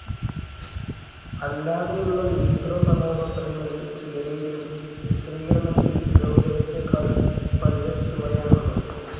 അല്ലാതെയുള്ള നീഗ്രോ കഥാപാത്രങ്ങളിൽ ചിലരെങ്കിലും ചിത്രീകരണത്തിൽ ഗൗരവത്തെക്കാൾ ഫലിതച്ചുവയാണുള്ളത്.